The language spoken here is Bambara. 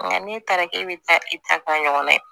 Nka n'e taara k'e bɛ taa i ta taa ɲɔgɔn ye